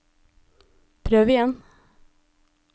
prøv igjen